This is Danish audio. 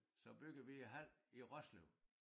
Så byggede vi æ hal i Roslev